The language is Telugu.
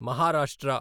మహారాష్ట్ర